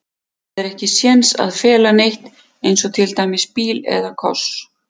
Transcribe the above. Það er ekki séns að fela neitt, eins og til dæmis bíl eða koss.